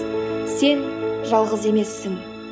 сен жалғыз емессің